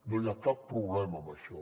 no hi ha cap problema en això